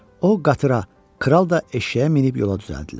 O qatıra, kral da eşşəyə minib yola düzəldilər.